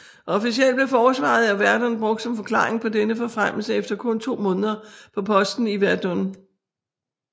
Officlelt blev forsvaret af Verdun brugt som forklaring på denne forfremmelse efter kun to måneder på posten i Verdun